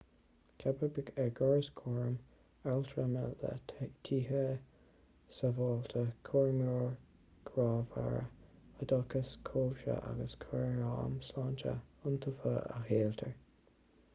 ceapadh ár gcóras cúraim altrama le tithe sábháilte cúramóirí grámhara oideachas cobhsaí agus cúram sláinte iontaofa a sholáthar